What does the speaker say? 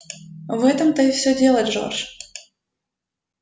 в этом-то всё и дело джордж